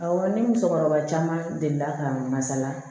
Awɔ ni musokɔrɔba caman delila ka masala